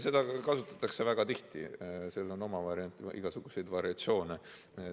Seda kasutatakse väga tihti ja seda tüüpi argumenteerimisel on igasuguseid variatsioone.